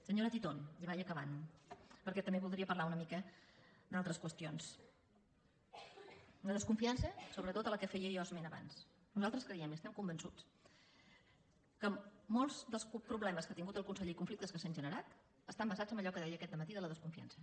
senyora titon i vaig acabant perquè també voldria parlar una mica d’altres qüestions una desconfiança sobretot de què feia jo esment abans nosaltres creiem i estem convençuts que molts dels problemes que ha tingut el conseller i conflictes que s’han generat estan basats en allò que deia aquest dematí de la desconfiança